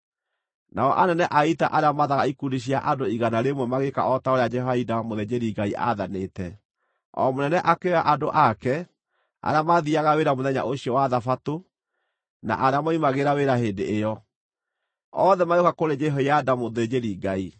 Nao anene a ita arĩa maathaga ikundi cia andũ igana rĩmwe magĩĩka o ta ũrĩa Jehoiada, mũthĩnjĩri-Ngai aathanĩte. O mũnene akĩoya andũ ake, arĩa maathiiaga wĩra mũthenya ũcio wa thabatũ na arĩa moimagĩra wĩra hĩndĩ ĩyo, othe magĩũka kũrĩ Jehoiada mũthĩnjĩri-Ngai.